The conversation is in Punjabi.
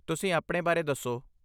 ਤੁਸੀਂ ਆਪਣੇ ਬਾਰੇ ਦੱਸੋ?